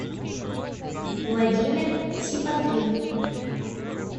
владимир сипотрин